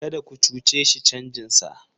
Kada ku cuce shi canjinsa!